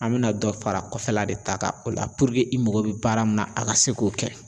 An bɛna dɔ fara kɔfɛla de ta kan o la i mago bi baara min na an ka se k'o kɛ